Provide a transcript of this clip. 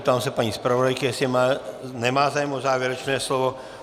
Ptám se paní zpravodajky, jestli má zájem o závěrečné slovo.